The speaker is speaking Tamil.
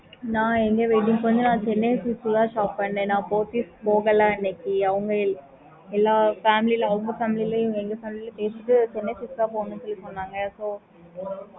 okay mam